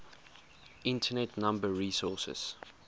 internet number resources